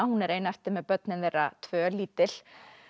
hún er ein eftir með börnin þeirra tvö lítil